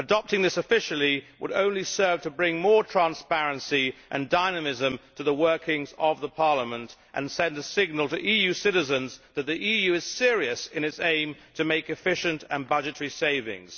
Adopting this officially would only serve to bring more transparency and dynamism to the workings of Parliament and send a signal to EU citizens that the EU is serious in its aim to make efficient and budgetary savings.